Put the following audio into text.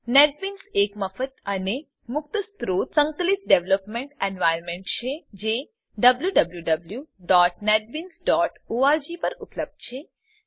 NetBeans એક મફત અને મુક્ત સ્ત્રોત સંકલિત ડેવેલપમેંટ એન્વાયર્નમેંટ છે જે wwwnetbeansorg પર ઉપલબ્ધ છે